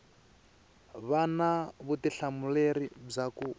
va na vutihlamuleri bya ku